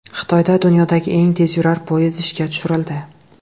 Xitoyda dunyodagi eng tezyurar poyezd ishga tushirildi .